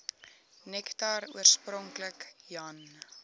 nektar oorspronklik jan